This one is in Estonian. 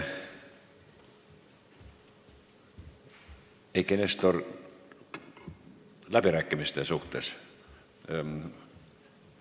Eiki Nestor, kas läbirääkimiste suhtes?